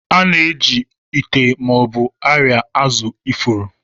A na-eji ite ma ọ bụ arịa azụ ifuru.